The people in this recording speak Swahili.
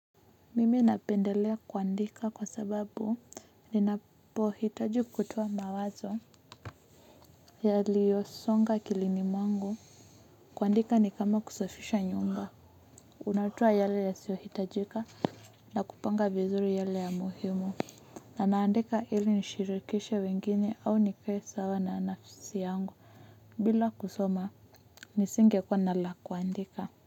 Mimi napendelea kuandika kwa sababu ninapohitaji kutoa mawazo yaliyosonga akilini mwangu kuandika ni kama kusafisha nyumba unatoa yale yasiyohitajika na kupanga vizuri yale ya muhimu na naandika ili nishirikishe wengine au nikuwe sawa na nafsi yangu bila kusoma nisinge kuwa na la kuandika.